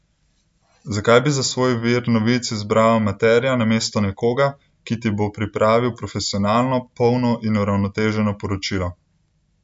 Zakaj bi za svoj vir novic izbral amaterja namesto nekoga, ki ti bo pripravil profesionalno, polno in uravnoteženo poročilo?